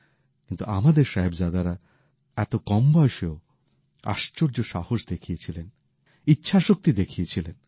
কিন্তু আমাদের সাহিবজাদারা এত কম বয়সেও আশ্চর্য সাহস দেখিয়েছিলেন ইচ্ছাশক্তি দেখিয়েছিলেন